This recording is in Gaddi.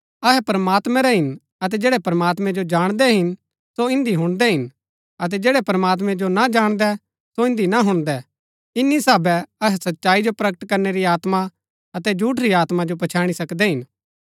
अहै प्रमात्मैं रै हिन अतै जैड़ै प्रमात्मैं जो जाणदै हिन सो इन्दी हुणदै हिन अतै जैड़ै प्रमात्मैं जो ना जाणदै सो इन्दी ना हुणदै इन्‍नी साहबै अहै सच्चाई जो प्रकट करनै री आत्मा अतै झूठ री आत्मा जो पछैणी सकदै हिन